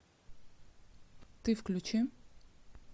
ты включи